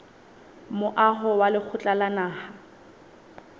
moaho wa lekgotla la naha